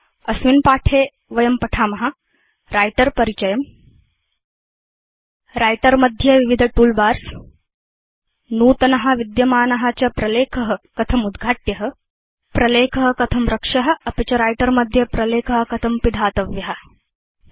अस्मिन् पाठे वयं writer परिचयं व्रिटर मध्ये विविध तूल बार्स नूतन विद्यमान च प्रलेख कथम् उद्घाट्य प्रलेख कथं रक्ष्य अपि च व्रिटर मध्ये प्रलेख कथं पिधातव्य चेति पठेम